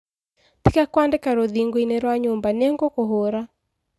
Tĩga kũandĩka rũthingo-inĩ rwa nyũmba ningũkũhũra.